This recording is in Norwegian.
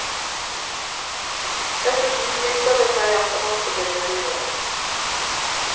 Dessuten viser det seg at annonsebildet lyver litt.